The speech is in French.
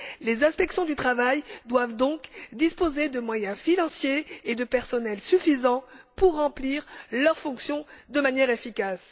Les inspections du travail doivent donc disposer de moyens financiers et de personnels suffisants pour remplir leurs fonctions de manière efficace.